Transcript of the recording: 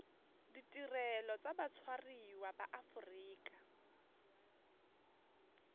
ditirelo tsa batshwariwa ba aforika